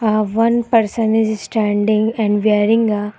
uhh one person is standing and wearing a --